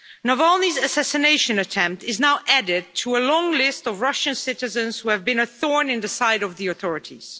Following this assassination attempt, Navalny is now added to a long list of Russian citizens who have been a thorn in the side of the authorities.